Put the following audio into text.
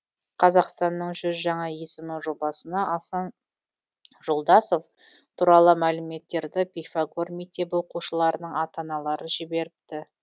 қазақстанның жүз жаңа есімі жобасына асан жолдасов туралы мәліметтерді пифагор мектебі оқушыларының ата аналары жіберіпті